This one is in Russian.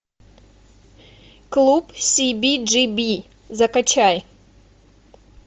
клуб сиби джи би закачай